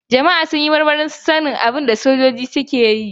Jama'a sun yi marmarin sanin abin da sojoji da ma'aikatan jirgin suke yi.